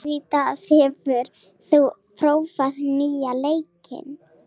Karitas, hefur þú prófað nýja leikinn?